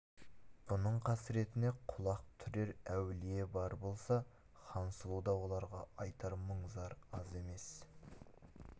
бұның қасіретіне құлақ түрер әулие бар болса хансұлуда оларға айтар мұң-зар аз емес